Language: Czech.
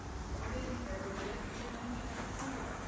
V moderní Evropě to však nemůže takto fungovat.